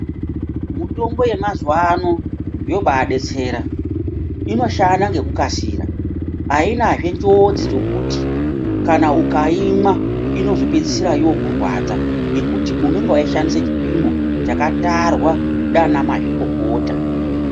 Mutombo yemazuwano yobadetsera, inoshanda ngekukasira ainazve chiodzi chekuti kana ukaimwa inozopedzisora yokurwadza ngekuti unenge weiushandisa chipimo chakatarwa ndiana mazvikokota.